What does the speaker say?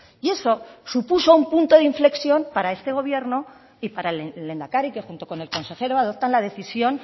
y eso supuso un punto de inflexión para este gobierno y para el lehendakari que junto con el consejero adoptan la decisión